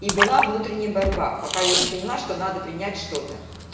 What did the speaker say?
и была внутренняя борьба пока я не поняла что надо принять что-то